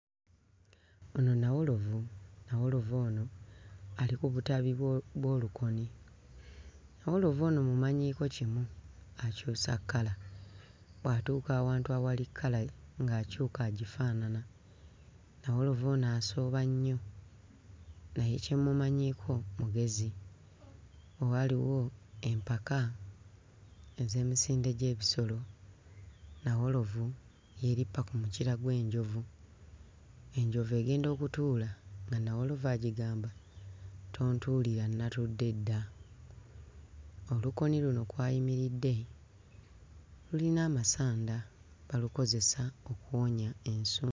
Ono nnawolovu nnawolovu ano ali ku butabi bwo bw'olukoni nnawolovu ono mmumanyiiko kimu akyusa kkala bw'atuuka awantu awali kkala ng'akyuka agifaanana nnawolovu ono asooba nnyo naye kye mmumanyiiko mugezi waaliwo empaka ez'emisinde gy'ebisolo nnawolovu yeerippa ku mukira gw'enjovu enjovu egenda okutuuka nga nnawolovu agigamba, "Tontuulira nnatudde dda." Olukoni luno kw'ayimiridde lulina amasanda balukozesa okuwonya ensu.